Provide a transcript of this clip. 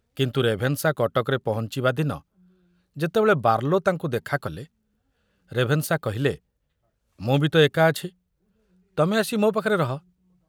କିନ୍ତୁ ରେଭେନଶା କଟକରେ ପହଞ୍ଚିବା ଦିନ ଯେତେବେଳେ ବାର୍ଲୋ ତାଙ୍କୁ ଦେଖା କଲେ, ରେଭେନଶା କହିଲେ, ମୁଁ ବି ତ ଏକା ଅଛି, ତମେ ଆସି ମୋ ପାଖରେ ରହ।